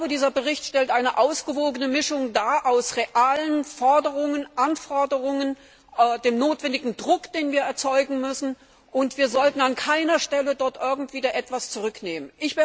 Dieser Bericht stellt eine ausgewogene Mischung dar aus realen Forderungen, Anforderungen, dem notwendigen Druck, den wir erzeugen müssen, und wir sollten dort an keiner Stelle irgendetwas zurücknehmen.